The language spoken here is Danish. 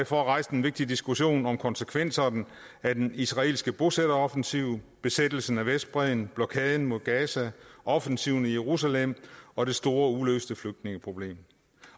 for at rejse den vigtige diskussion om konsekvenserne af den israelske bosætteroffensiv besættelsen af vestbredden blokaden mod gaza offensiven i jerusalem og det store uløste flygtningeproblem